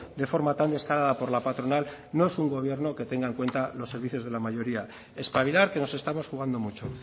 de forma tan descarada por la patronal no es un gobierno que tenga en cuenta los servicios de la mayoría espabilar que nos estamos jugando mucho